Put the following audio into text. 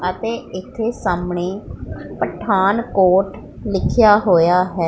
ਅਤੇ ਇੱਥੇ ਸਾਹਮਣੇ ਪਠਾਨਕੋਟ ਲਿਖਿਆ ਹੋਇਆ ਹੈ।